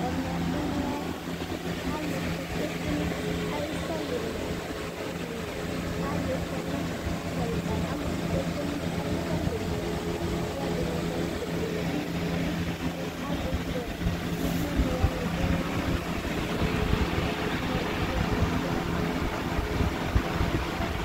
ɛmɛbɩ lɛ alʊ kpɔ ɩkpete nʊ ʊtɩ ayʊ edɩnɩ atanɩ kɔnʊ edɩnɩ yɛ owʊ nɩ manʊ ɛfɛ kʊ alʊ kɔ adʊ awʊ wɛ nʊ ɔʋɛ ka kɔ ɛkɔtɔ